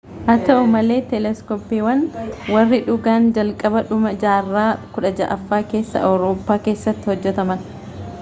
haa ta'u malee teeleskooppiiwwan warri dhugaan jalqabaa dhuma jaarraa 16ffaa keessa awurooppaa keessatti hojjetaman